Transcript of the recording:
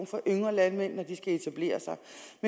for en ung landmand at etablere sig